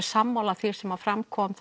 sammála því sem fram kom